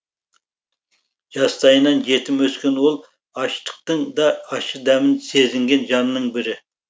жастайынан жетім өскен ол аштықтың да ащы дәмін сезінген жанның бірі